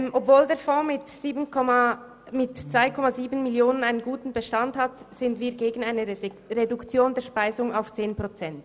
Obwohl der Fonds mit 2,7 Mio. Franken einen guten Bestand hat, sind wir gegen eine Reduktion der Speisung auf 10 Prozent.